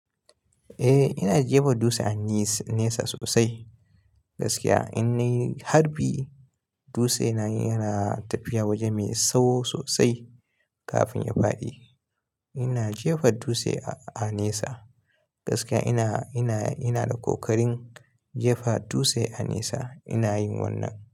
Eh ina jefa dutse a nesa sosai gaskiya in nayi harbi dutse na yana tafiya waje mai tsawo sosai kafin ya faɗi. Ina jefa dutse a nesa gaskiya ina, ina, ina da ƙoƙarin jefa dutse a nesa ina yin wannan.